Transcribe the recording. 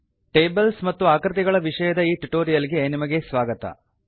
tables ಮತ್ತು ಆಕೃತಿಗಳ ವಿಷಯದ ಈ ಟ್ಯುಟೋರಿಯಲ್ ಗೆ ನಿಮಗೆ ಸ್ವಾಗತ